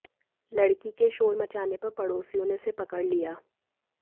लड़की के शोर मचाने पर पड़ोसियों ने उसे पकड़ लिया